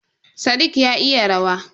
Sadiq ya iya rawa.